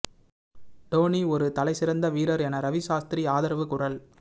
டோனி ஒரு தலைசிறந்த வீரர் என ரவி சாஸ்திரி ஆதரவு குரல்